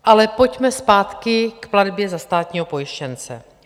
Ale pojďme zpátky k platbě za státního pojištěnce.